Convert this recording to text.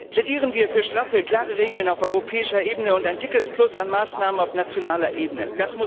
Plädieren wir für straffe, klare Regeln auf europäischer Ebene und ein dickes Plus an Maßnahmen auf nationaler Ebene!